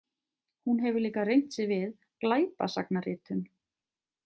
Hún hefur líka reynt sig við glæpasagnaritun.